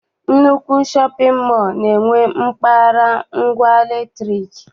Nnukwu shọpịn mọọ na-enwe mpaghara ngwa latrik.